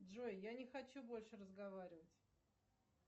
джой я не хочу больше разговаривать